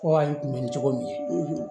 Fɔ ayi kunbɛnni cogo min ye